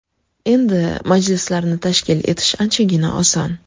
Endi majlislarni tashkil etish anchagina oson.